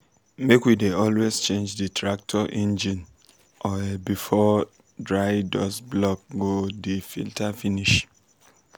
farmers for kebbi dey harvest dia corn quick quick so dat dry wind no go crack di corn.